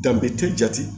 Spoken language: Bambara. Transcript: jate